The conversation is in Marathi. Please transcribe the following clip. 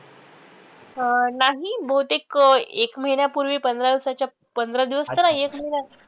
अं नाही बहुतेक अं एक महिन्यापूर्वी पंधरा दिवसाच्या पंधरा दिवस तर नाही एक महिना